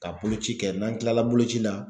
Ka boloci kɛ n'an tilala boloci la